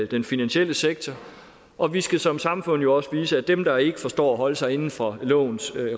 den finansielle sektor og vi skal som samfund jo også vise at dem der ikke forstår at holde sig inden for lovens